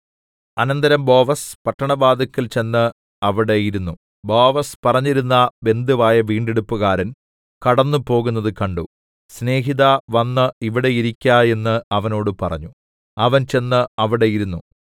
അനന്തരം ബോവസ് പട്ടണവാതില്ക്കൽ ചെന്ന് അവിടെ ഇരുന്നു ബോവസ് പറഞ്ഞിരുന്ന ബന്ധുവായ വീണ്ടെടുപ്പുകാരൻ കടന്നുപോകുന്നത് കണ്ടു സ്നേഹിതാ വന്ന് ഇവിടെ ഇരിക്ക എന്നു അവനോട് പറഞ്ഞു അവൻ ചെന്നു അവിടെ ഇരുന്നു